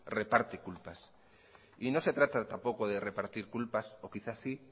reparte culpas y no se trata de repartir culpas o quizás sí